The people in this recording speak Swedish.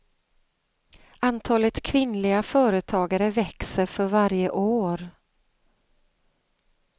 Antalet kvinnliga företagare växer för varje år.